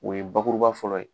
O ye bakuruba fɔlɔ ye.